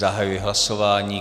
Zahajuji hlasování.